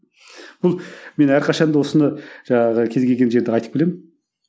бұл мен әрқашанда осыны жаңағы кез келген жерде айтып келемін